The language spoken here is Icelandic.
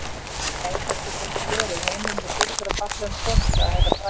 Nei, það getur ekki verið, heimurinn er fullur af fallegum konum, sagði Herra Brian.